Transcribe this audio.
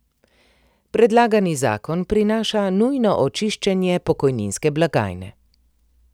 Predlagani zakon prinaša nujno očiščenje pokojninske blagajne.